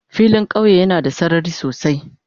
Filin kauye yana da sarari sosai.